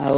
ଆଉ